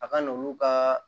A ka n'olu ka